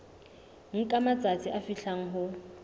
nka matsatsi a fihlang ho